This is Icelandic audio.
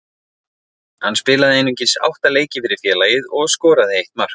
Hann spilaði einungis átta leiki fyrir félagið og skoraði eitt mark.